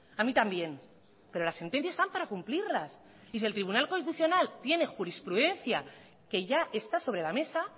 a mí también pero las sentencias están para cumplirlas y si el tribunal constitucional tiene jurisprudencia que ya está sobre la mesa